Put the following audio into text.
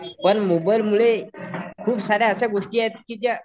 पण मोबाईलमुळे खूप साऱ्या अशा गोष्टी आहेत की ज्या